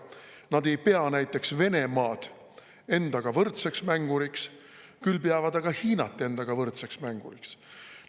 Nad ei pea näiteks Venemaad endaga võrdseks mänguriks, küll aga peavad nad Hiinat endaga võrdseks mänguriks.